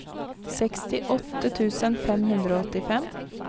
sekstiåtte tusen fem hundre og åttifem